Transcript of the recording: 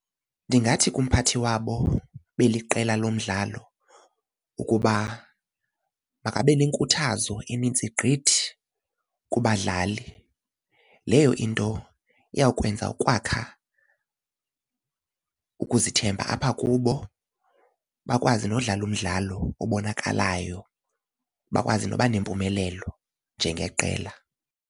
Ndingathi kumphathi wabo beliqela lomdlalo ukuba makabe nenkuthazo enintsi gqithi kubadlali. Leyo into iyawukwenza ukwakha ukuzithemba apha kubo bakwazi nokudlala umdlalo obonakalayo bakwazi noba nempumelelo njengeqela.